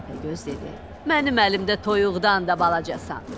Təpəgöz dedi: Mənim əlimdə toyuqdan da balacasan.